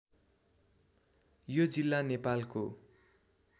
यो जिल्ला नेपालको